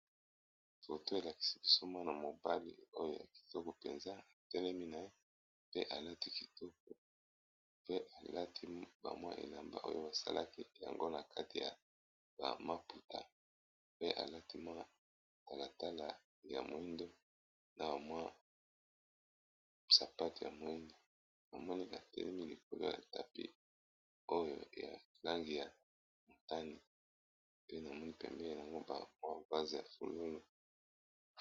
Toto elakisi kisoma na mobali oyo ya kitoko mpenza etelemi na ye pe alati kitoko pe alati bamwa elamba oyo basalaki yango na kati ya bamaputa pe alati mwa talatala ya moindo na bamwi sapate ya moindo amonikatelemi likolo ya tapi oyo yalangi ya motani pe namoni pembe yango bamwpase ya fulolo.